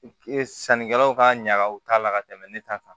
sannikɛlaw ka ɲaga u t'a la ka tɛmɛ ne ta kan